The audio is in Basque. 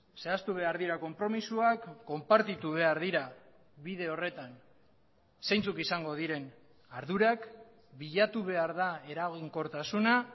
zehaztu behar dira konpromisoak konpartitu behar dira bide horretan zeintzuk izango diren ardurak bilatu behar da eraginkortasuna